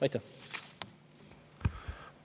Aitäh!